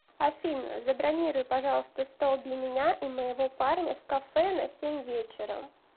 афина забронируй пожалуйста стол для меня и моего парня в кафе на семь вечера